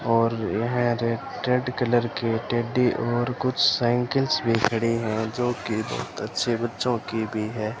और यह रे रेड कलर की टेडी और कुछ साइकिल्स भी खड़ी हैं जो कि बहुत अच्छे बच्चों की भी है।